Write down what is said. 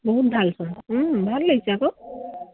বহুত ভাল চোন। উম ভাল লাগিছে আকৌ।